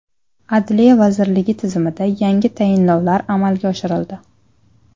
Adliya vazirligi tizimida yangi tayinlovlar amalga oshirildi.